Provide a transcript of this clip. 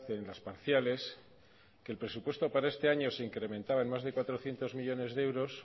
en las parciales que el presupuesto para este año se incrementaba en más de cuatrocientos millónes de euros